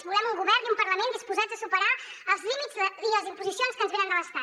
volem un govern i un parlament disposats a superar els límits i les imposicions que ens venen de l’estat